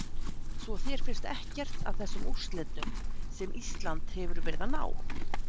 Svo þér finnst ekkert að þessum úrslitum sem Ísland hefur verið að ná?